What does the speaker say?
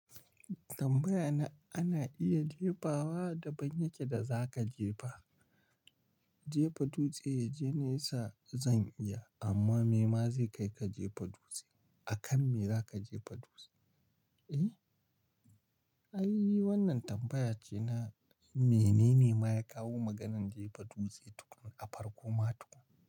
Tambayana ana iya jefawa daban yake da za ka jefa. Jefa dutse ya je nesa zan iya amma me ma zai kai ka jefa dutse? A kan me za ka jefa dutse? Ai wannan tambaya ce na mene ne ma ya kawo maganan jefa dutse tukuna a farko ma tukuna.